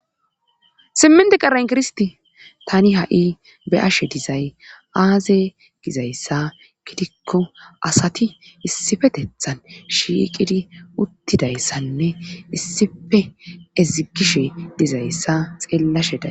simminte qaen kirsti tani ha7i be ashe dizay aaze gizayssa gidikko asati issifetethan shiiqidi uttidayssanne issife ezigishe dizayssa xeellashe da